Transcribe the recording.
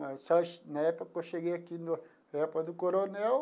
Na época que eu cheguei aqui, no na época do coronel,